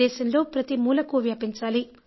దేశంలో ప్రతి మూలకూ వ్యాపించాలి